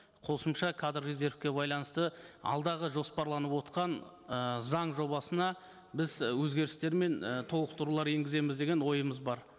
қосымша кадр резервке байланысты алдағы жоспарланып отырған ы заң жобасына біз өзгерістер мен і толықтырулар енгіземіз деген ойымыз бар